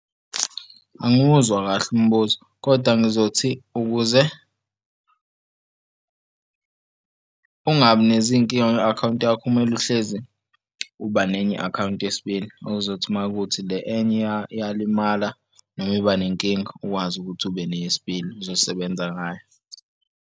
Angimuzwa kahle umbuzo, kodwa ngizothi ukuze ungabi nezinkinga kwi-akhawunti yakho kumele uhlezi uba nenye i-akhawunti yesibili okuzothi uma kuwukuthi le enye iyalimala noma iba nenkinga ukwazi ukuthi ube neyesibili ozosebenza ngayo.